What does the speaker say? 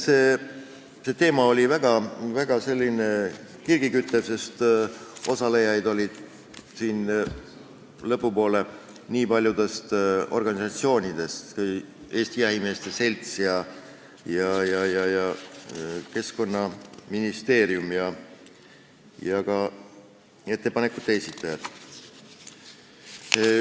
See teema oli väga kirgi küttev, sest osalejaid oli lõpupoole paljudest organisatsioonidest, Eesti Jahimeeste Seltsist, Keskkonnaministeeriumist, ja osalesid ka ettepanekute esitajad.